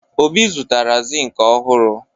Obi zụtara zinc ọhụrụ.